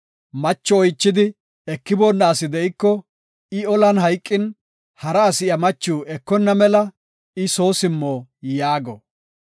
Macho oychidi ekiboonna asi de7iko, I olan hayqin, hara asi iya machiw ekonna mela I soo simmo” yaago.